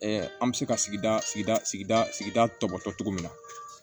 an bɛ se ka sigida sigida sigida sigida tɔbɔtɔ min na